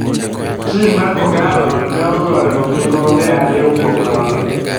Tim mar kogallo ne ogoyo gi gonde ariyo kuom nono.